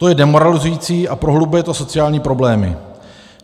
To je demoralizující a prohlubuje to sociální problémy.